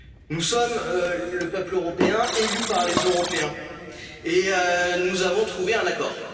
l'Europe, nous sommes le peuple européen, élu par les Européens et nous avons